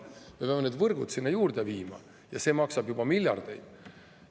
Me peame need võrgud sinna juurde viima ja see maksab juba miljardeid.